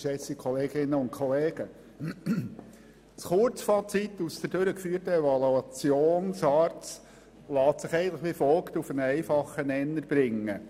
Das Kurzfazit der durchgeführten Evaluation SARZ lässt sich wie folgt auf einen einfachen Nenner bringen: